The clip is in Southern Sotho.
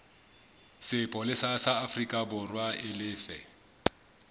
sepolesa sa aforikaborwa e lefe